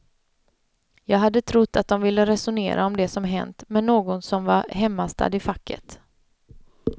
Jag hade trott att de ville resonera om det som hänt med någon som var hemmastadd i facket.